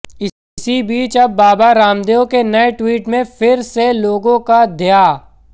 इसी बीच अब बाबा रामदेव के नए ट्वीट में फिर से लोगों का ध्या